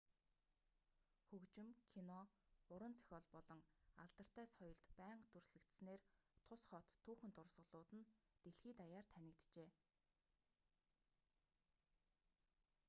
хөгжим кино уран зохиол болон алдартай соёлд байнга дүрслэгдсэнээр тус хот түүхэн дурсгалууд нь дэлхий даяар танигджээ